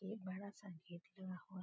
एक बड़ा सा गेट लगा हुआ --